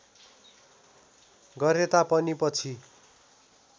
गरेता पनि पछि